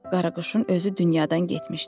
Qaraquşun özü dünyadan getmişdir.